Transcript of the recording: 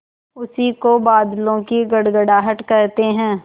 उसी को बादलों की गड़गड़ाहट कहते हैं